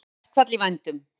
Allsherjarverkfall í vændum